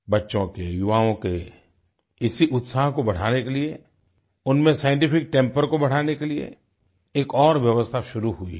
बच्चों के युवाओं के इसी उत्साह को बढ़ाने के लिए उनमें साइंटिफिक टेम्पर को बढ़ाने के लिए एक और व्यवस्था शुरू हुई है